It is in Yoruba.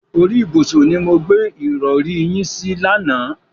Orí ìbùsùn ni mo gbé ìrọ̀rí yín sí lánàá.